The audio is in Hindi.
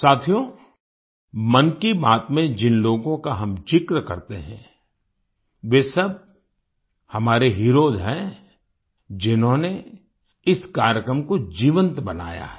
साथियो मन की बात में जिन लोगों का हम ज़िक्र करते हैं वे सब हमारे हीरोज हैं जिन्होंने इस कार्यक्रम को जीवंत बनाया है